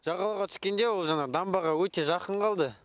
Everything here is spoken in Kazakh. жағалауға түскенде ол жаңағы дамбаға өте жақын қалды